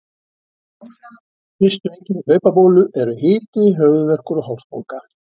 Fyrstu einkenni hlaupabólu eru hiti, höfuðverkur og hálsbólga.